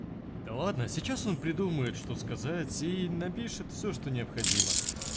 да ладно сейчас он придумает что сказать и напишет всё что необходимо